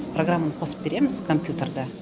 программаны қосып береміз компьютерда